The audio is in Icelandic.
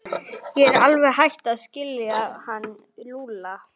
Ég er alveg hætt að skilja hann Lúlla.